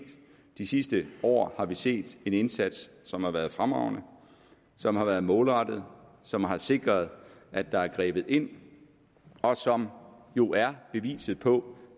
de sidste år har vi set en indsats som har været fremragende som har været målrettet som har sikret at der er grebet ind og som jo er beviset på